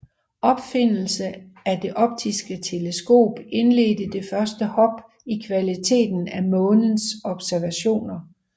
Opfindelsen af det optiske teleskop indledte det første hop i kvaliteten af Månens observationer